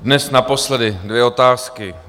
Dnes naposledy dvě otázky.